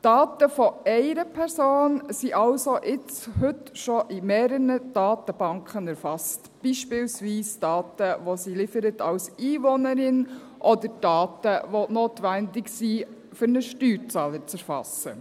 Die Daten einer Person sind also heute schon in mehreren Datenbanken erfasst, beispielsweise diejenigen Daten, die sie als Einwohnerin liefert, oder Daten, die notwendig sind, um eine Steuerzahlung zu erfassen.